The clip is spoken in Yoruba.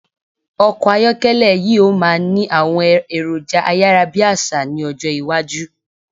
Ọkọ̀ ayọ́kẹ́lẹ̀ yí o máà ni àwọn èròjà ayárábiàsà ni ọjọ́ iwájú